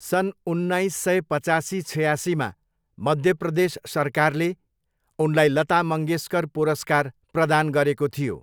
सन् उन्नाइस सय पचासी छयासीमा मध्य प्रदेश सरकारले उनलाई लता मङ्गेस्कर पुरस्कार प्रदान गरेको थियो।